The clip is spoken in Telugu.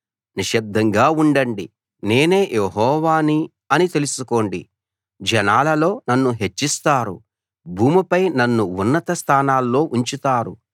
నిశ్శబ్దంగా ఉండండి నేనే యెహోవాని అని తెలుసుకోండి జనాలలో నన్ను హెచ్చిస్తారు భూమిపై నన్ను ఉన్నత స్థానంలో ఉంచుతారు